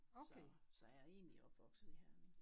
Så så jeg er egentlig opvokset i Herning